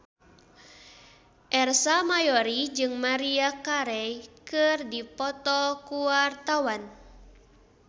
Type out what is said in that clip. Ersa Mayori jeung Maria Carey keur dipoto ku wartawan